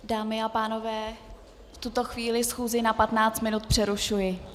Dámy a pánové, v tuto chvíli schůzi na 15 minut přerušuji.